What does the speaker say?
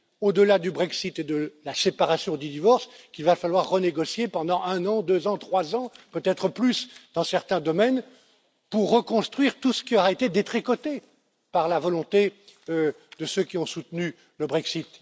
Au delà du Brexit et de la séparation ou du divorce, il va falloir renégocier pendant un an, deux ans, trois ans, peut être plus, dans certains domaines, pour reconstruire tout ce qui aura été détricoté par la volonté de ceux qui ont soutenu le Brexit.